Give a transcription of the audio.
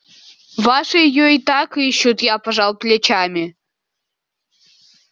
ваши её и так ищут я пожал плечами